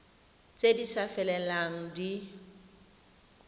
tse di sa felelang di